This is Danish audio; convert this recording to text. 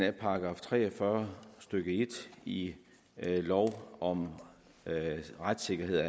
af § tre og fyrre stykke en i lov om retssikkerhed